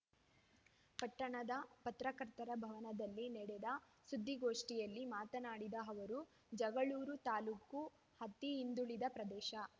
ಪಟ್ಟಣದ ಪತ್ರಕರ್ತರ ಭವನದಲ್ಲಿ ನಡೆದ ಸುದ್ದಿಗೋಷ್ಠಿಯಲ್ಲಿ ಮಾತನಾಡಿದ ಅವರು ಜಗಳೂರು ತಾಲೂಕು ಅತಿ ಹಿಂದುಳಿದ ಪ್ರದೇಶ